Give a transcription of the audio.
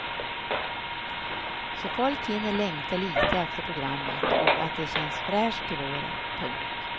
Så folk hinner längta lite efter programmet och att det känns fräscht till våren. punkt